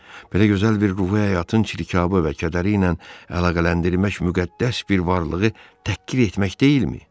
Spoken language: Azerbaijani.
Belə gözəl bir ruhi həyatın çirkabı və kədəri ilə əlaqələndirmək müqəddəs bir varlığı təhqir etmək deyilmi?